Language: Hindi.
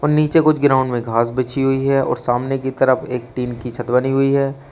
नीचे कुछ ग्राउंड में घास बिछी हुई है और सामने की तरफ एक टीन की छत बनी हुई है।